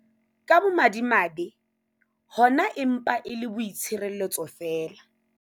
Ka bomadimabe, hona e mpa e le boitshireletso feela.